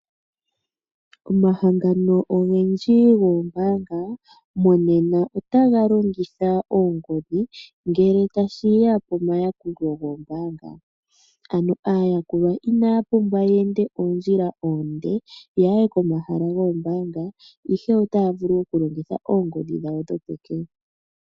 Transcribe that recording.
Omahangano ogendji goombaanga monena otaga longitha oongodhi oku yakula aayakulwa yawo. Aayakulwa inaya pumbwa oku enda oondjila oonde ya ye komahala goombaanga ihe otaa vulu okulongitha oongodhi dhawo dhopeke.